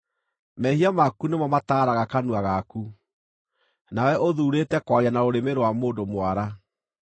Mehia maku nĩmo mataaraga kanua gaku; nawe ũthuurĩte kwaria na rũrĩmĩ rwa mũndũ mwara.